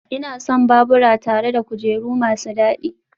Ina son babura tare da kujeru masu dadi